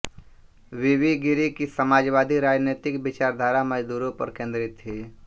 वीवी गिरि की समाजवादी राजनैतिक विचारधारा मजदूरों पर केंद्रित थी